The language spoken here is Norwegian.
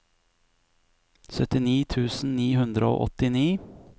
syttini tusen ni hundre og åttini